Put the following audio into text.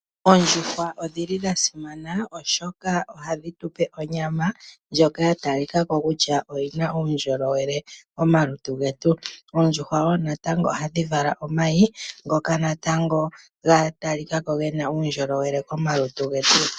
Oondjuhwa odhi li dha simana oshoka ohadhi tu pe onyama ndjoka ya talika ko kutya oyi na uundjolowele momalutu getu. Oondjuhwa wo natango ohadhi vala omayi ngoka natango ga talika ko ge na uundjolowele komalutu getu.